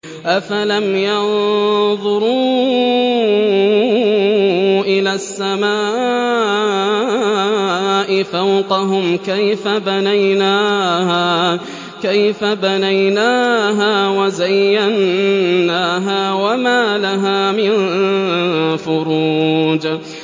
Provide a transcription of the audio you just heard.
أَفَلَمْ يَنظُرُوا إِلَى السَّمَاءِ فَوْقَهُمْ كَيْفَ بَنَيْنَاهَا وَزَيَّنَّاهَا وَمَا لَهَا مِن فُرُوجٍ